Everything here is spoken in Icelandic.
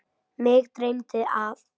Mig dreymdi að